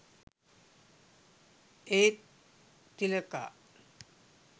ඒත් තිලකා